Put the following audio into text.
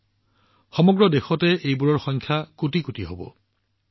ইয়াৰ সংখ্যা সমগ্ৰ দেশৰ কোটিৰ হিচাপত হব